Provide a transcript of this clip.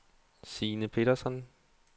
Signe Petersson